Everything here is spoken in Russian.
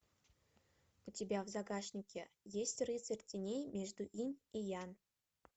у тебя в загашнике есть рыцарь теней между инь и ян